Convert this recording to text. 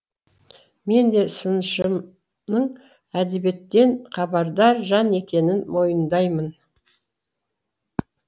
мен де сыншымның әдебиеттен хабардар жан екенін мойындаймын